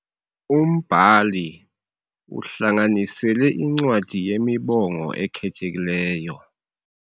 Umbhali uhlanganisele incwadi yemibongo ekhethekileyo.